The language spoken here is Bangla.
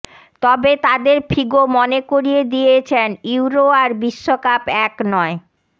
তবে তাদের ফিগো মনে করিয়ে দিয়েছেন ইউরো আর বিশ্বকাপ এক নয়